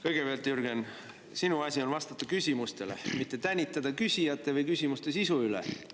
Kõigepealt, Jürgen, sinu asi on vastata küsimustele, mitte tänitada küsijate või küsimuste sisu üle.